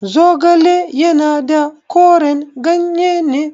Zogale yana da koren ganye ne.